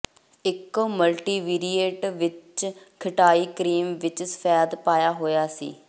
ਇੱਕ ਮਲਟੀਵੀਰੀਏਟ ਵਿੱਚ ਖਟਾਈ ਕਰੀਮ ਵਿੱਚ ਸਫੈਦ ਪਾਇਆ ਹੋਇਆ ਸੀ